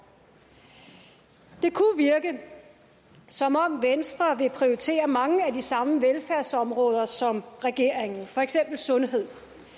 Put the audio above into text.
det kunne virke som om venstre vil prioritere mange af de samme velfærdsområder som regeringen for eksempel sundhed